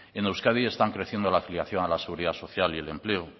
en euskadi están creciendo la afiliación a la seguridad social y el empleo